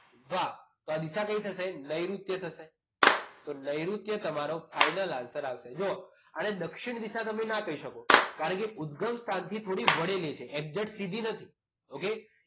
વાહ તો આ દિશા કઈ થશે? નૈઋત્ય થશે. તો નૈઋત્ય તમારો final answer હશે જુઓ અને દક્ષિણ દિશા અને તમે ના કહી શકો કારણ કે ઉદગમ સ્થાનથી થોડીક વળેલી છે એક્ઝેટસીધી નથી okay